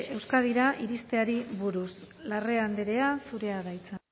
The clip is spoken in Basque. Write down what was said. euskadira iristeari buruz larrea andrea zurea da hitza